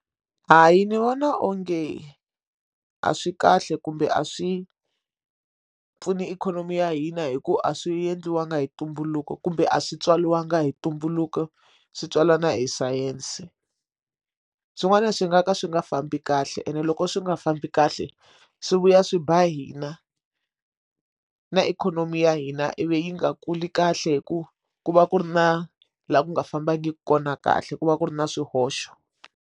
Hayi ni vona onge a swi kahle kumbe a swi pfuni ikhonomi ya hina hi ku a swi endliwangi hi ntumbuluko kumbe a swi tswariwanga hi ntumbuluko swi tswalana hi sayense swin'wana swi nga ka swi nga fambi kahle ene loko swi nga fambi kahle swi vuya swi ba hina na ikhonomi ya hina ivi yi nga kuli kahle hi ku ku va ku ri na laha ku nga fambangi kona kahle ku va ku ri na swihoxo.